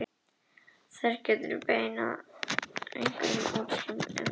Þar upp frá geturðu tjaldað og hefur meira að segja einhverja útsýn yfir bæinn